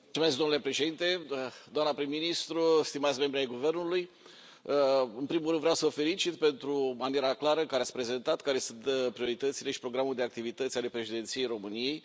Domnule președinte, doamnă prim ministru, stimați membri ai guvernului, în primul rând vreau să vă felicit pentru maniera clară în care ați prezentat care sunt prioritățile și programul de activități ale Președinției României.